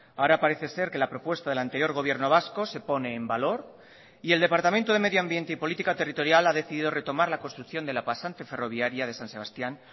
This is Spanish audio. ahora parece ser que la propuesta del anterior gobierno vasco se pone en valor y el departamento de medioambiente y política territorial ha decidido retomar la construcción de la pasante ferroviaria de san sebastián